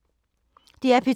DR P2